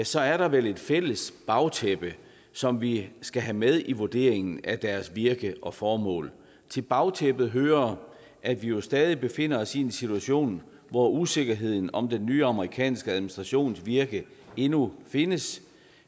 så er der vel et fælles bagtæppe som vi skal have med i vurderingen af deres virke og formål til bagtæppet hører at vi jo stadig befinder os i en situation hvor usikkerheden om den nye amerikanske administrations virke endnu findes